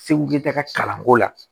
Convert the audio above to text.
Segu ta ka kalanko la